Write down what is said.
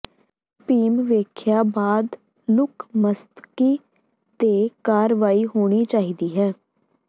ਬੀਮ ਵੇਖਿਆ ਬਾਅਦ ਲੁੱਕ ਮਸਤਕੀ ਤੇ ਕਾਰਵਾਈ ਹੋਣੀ ਚਾਹੀਦੀ ਹੈ